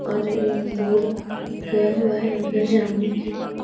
और ये रोड गया हुआ है अंदर जाने के लिए --